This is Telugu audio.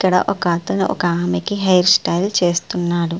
ఇక్కడ ఒక అతను ఒక ఆవిడకి హెయిర్ స్టైల్ చేస్తున్నాడు.